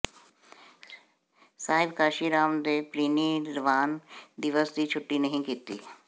ਸਾਹਿਬ ਕਾਂਸ਼ੀਰਾਮ ਦੇ ਪ੍ਰੀਨਿਰਵਾਣ ਦਿਵਸ ਦੀ ਛੁੱਟੀ ਨਹੀਂ ਕੀਤੀ